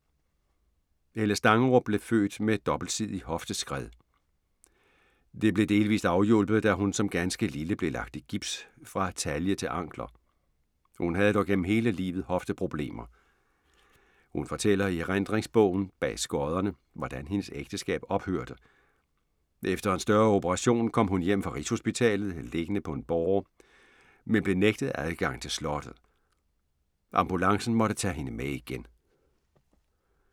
Helle Stangerup blev født med dobbeltsidig hofteskred. Det blev delvist afhjulpet, da hun som ganske lille blev lagt i gips fra talje til ankler. Hun havde dog gennem hele livet hofteproblemer. Hun fortæller i erindringsbogen, Bag skodderne, hvordan hendes ægteskab ophørte: Efter en større operation kom hun hjem fra Rigshospitalet, liggende på en båre, men blev nægtet adgang til slottet. Ambulancen måtte tage hende med igen.